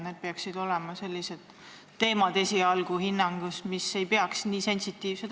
Need peaksid olema esialgsel hinnangul sellised teemad, mis ei ole nii sensitiivsed.